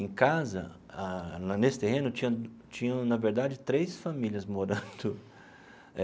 Em casa ah, nesse terreno, tinha tinham, na verdade, três famílias morando.